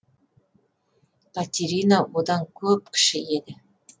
катерина одан көп кіші еді